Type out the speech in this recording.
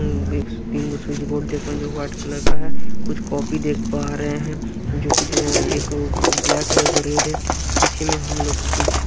तीन को switch board देख पार जो वाइट कलर का है कुछ कॉपी देख पा रहे हैं जो कि दो एक ब्लैक है एक रेड है पीछे में हम लोग कुछ--